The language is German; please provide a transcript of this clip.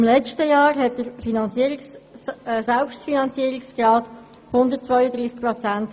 Im letzten Jahr betrug der Selbstfinanzierungsgrad 132 Prozent.